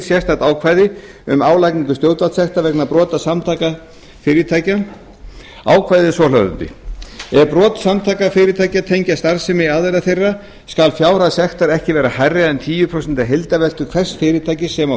sérstakt ákvæði um álagningu stjórnvaldssekta vegna brota samtaka fyrirtækja ákvæðið er svohljóðandi ef brot samtaka fyrirtækja tengjast starfsemi aðila þeirra skal fjárhæð sektar ekki vera hærri en tíu prósent af heildarveltu hvers fyrirtækis sem á